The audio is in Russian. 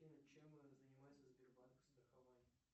афина чем занимается сбербанк страхование